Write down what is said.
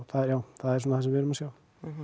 það er það er það sem við erum að sjá